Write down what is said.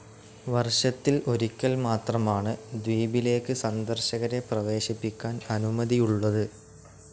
വർഷത്തിൽ ഒരിക്കൽ മാത്രമാണ് ദ്വീപിലേക്ക് സന്ദർശകരെ പ്രവേശിപ്പിക്കാൻ അനുമതിയുള്ളത്.